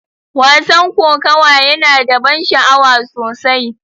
Wasan kokawa yana da ban sha'awa sosai.